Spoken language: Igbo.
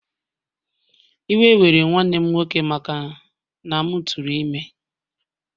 Iwe were nwanne m nwoke maka na m tụrụ ime